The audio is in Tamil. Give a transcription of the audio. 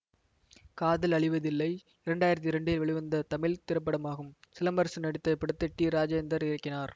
காதல் அழிவதில்லை இரண்டு ஆயிரத்தி இரண்டில் வெளிவந்த தமிழ் திரைப்படமாகும் சிலம்பரசன் நடித்த இப்படத்தை டி ராஜேந்தர் இயக்கினார்